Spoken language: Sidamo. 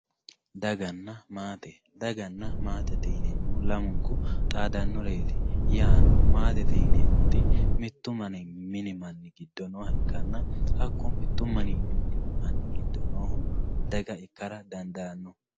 daganna maate daganna maatete yineemohu lamunku xaadannoreeti yaano maatete yineemoti mittu mini manni giddo nooha ikkana hakku mittu mini manni giddo noohu daga ikkara dadaanno.